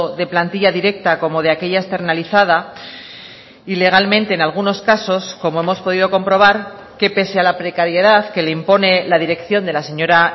de plantilla directa como de aquella externalizada y legalmente en algunos casos como hemos podido comprobar que pese a la precariedad que le impone la dirección de la señora